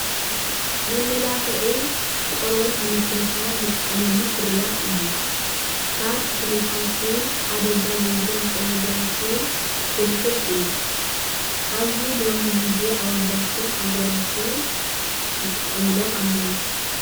መመላክዒ ቆርበት ንምክንካን እንጥቀመሉ ፍርያት እዪ:: ካብ ተኽልታትን ሓደጋ ዘይብሉ ንጥረ ነገራትን ክስርሑ ይክእሉ:: አብዚ ሎሚ ግዜ እዚ አወዳትን አጋላትን ይጥቀምሎም አለዉ ።